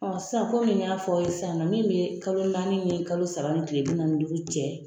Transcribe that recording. sisan komi n y'a fɔ aw sisan nɔ min bɛ kalo naani ni kalo saba ni kile bi naani ni duuru cɛ.